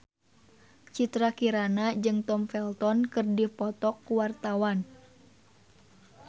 Citra Kirana jeung Tom Felton keur dipoto ku wartawan